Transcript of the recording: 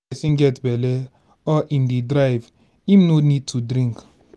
if person get belle or im dey drive im no need to drink